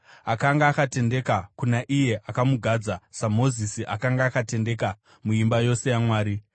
Akanga akatendeka kuna iye akamugadza, saMozisi akanga akatendeka muimba yose yaMwari.